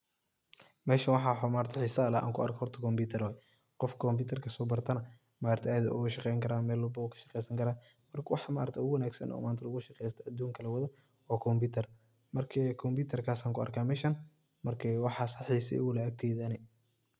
Meshan waxa xiisa leh an kuarko horta kompitar waye qoof kompitarka sobartana maaragtaye aad u ugashaqeyni kara mel walbu kashaqeysani kara, marka maaragti waxa ugu wanagsan oo manta lugushaqeysta adunka kalawado wa kumpitar, marka kompitarkas an kuarka meshan marka waxasa xiisa iguleh agteyda ani.